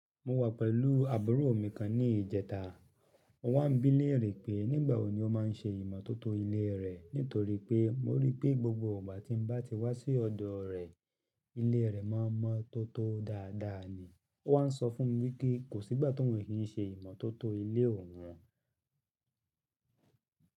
Mo wà pẹ̀lú àbúrò mi kan ní ìjẹta. Mo wá ń bí léèrè pé nígbà wo ni ó máa ń ṣe ìmọ́tótó ilé rẹ̀, nítorí pé mo rí i pé gbogbo ìgbà tí mo bá ti wá sí ọ̀dọ̀ rẹ̀, ilé rẹ̀ má ń mọ́tótó dáadáa ni. Ó wá ń sọ fún mi wípé kò sígbà tóun lè kí n ṣe ìmọ́tótó ilé òun.